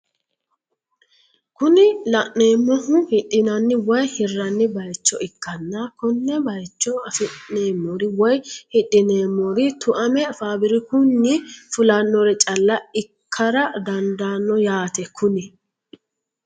kuni la'neemohu hidhinanni woye hirranni bayiicho ikkanna konne bayiicho afi'neemori woy hidhineemori tuame faabirikunni fulannore caala ikkara dandaano yaate kuni